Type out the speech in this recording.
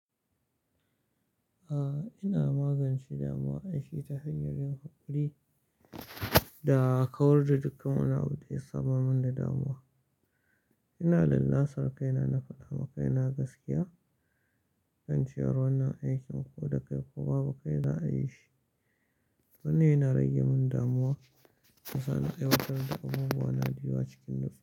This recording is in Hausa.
A'a, ina magance damuwa, an shi ta hanyar yin haƙuri da kawar da dukkan wani abu daya samar mun da damuwa. Ina lallashar kai na na faɗa ma kai na gaskiya kan cewar wannan aikin ko da kai ko babu kai za a yi shi. Wannan yana rage mun damuwa, yasa na aiwatar da abubuwa na zuwa cikin nutsuwa.